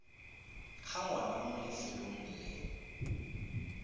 ga ngwana mo lefelong le